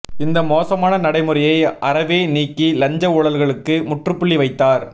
இந்த மோசமான நடைமுறையை அறவே நீக்கி லஞ்ச ஊழல்களுக்கு முற்றுப்புள்ளி வைத்தார்